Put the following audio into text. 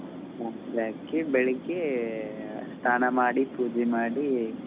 ರಾತ್ರಿ ಹಾಕಿ ಬೆಳಿಗ್ಗೆ ಸ್ನಾನ ಮಾಡಿ ಪೂಜೆ ಮಾಡಿ.